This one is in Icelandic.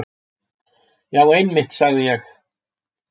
Já einmitt, sagði ég.